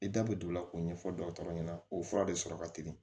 I da bɛ don o la k'o ɲɛfɔ dɔgɔtɔrɔ ɲɛna o fura de sɔrɔ ka teli